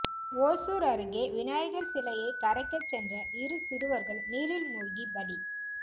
ஓசூர் அருகே விநாயகர் சிலையை கரைக்க சென்ற இரு சிறுவர்கள் நீரில் மூழ்கி பலி